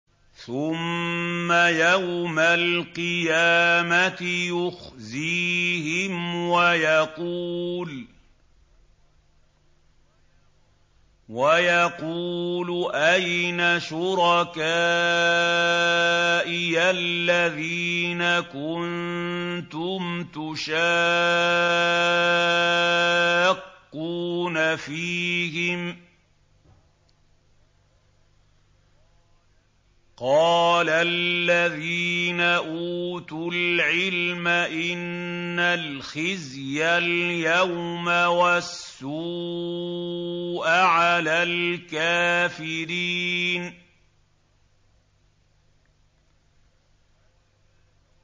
ثُمَّ يَوْمَ الْقِيَامَةِ يُخْزِيهِمْ وَيَقُولُ أَيْنَ شُرَكَائِيَ الَّذِينَ كُنتُمْ تُشَاقُّونَ فِيهِمْ ۚ قَالَ الَّذِينَ أُوتُوا الْعِلْمَ إِنَّ الْخِزْيَ الْيَوْمَ وَالسُّوءَ عَلَى الْكَافِرِينَ